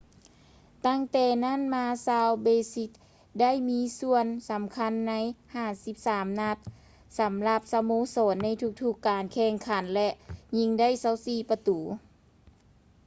ຕັ້ງແຕ່ນັ້ນມາ ຊາວເບຼຊິນໄດ້ມີສ່ວນສຳຄັນໃນ 53 ນັດ ສຳລັບສະໂມສອນໃນທຸກການແຂ່ງຂັນ ແລະ ຍິງໄດ້ 24 ປະຕູ